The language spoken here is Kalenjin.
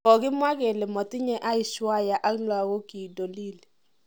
Kogimwa kele motinye Aishwarya ak logokiig dolili.